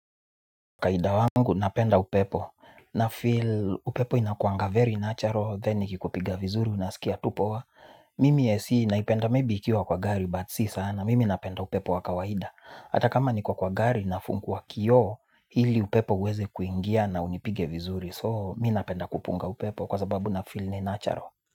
Kawaida wangu napenda upepo na feel upepo inakuanga very natural then ikikupiga vizuri unaskia tu poa mimi ac naipenda maybe ikiwa kwa gari but si sana mimi napenda upepo wa kawaida. Hata kama niko kwa kwa gari nafungua kioo hili upepo uweze kuingia na unipige vizuri soo mi napenda kupunga upepo kwa sababu na feel ni natural.